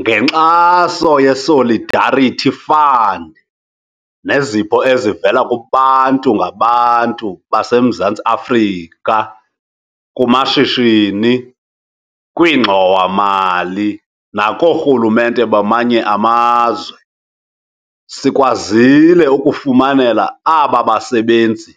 Ngenkxaso ye-Solidarity Fund nezipho ezivela kubantu ngabantu baseMzantsi Afrika, kumashishini, kwiingxowa-mali nakoorhulumente bamanye amazwe, sikwazile ukufumanela aba basebenzi